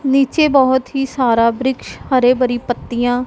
नीचे बहुत ही सारा वृक्ष हरे भरी पत्तियां--